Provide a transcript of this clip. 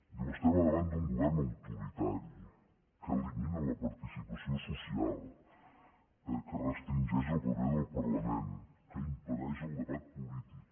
diu estem a davant d’un govern autoritari que elimina la participació social que restringeix el paper del parlament que impedeix el debat polític